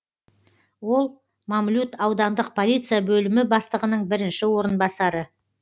ол мамлют аудандық полиция бөлімі бастығының бірінші орынбасары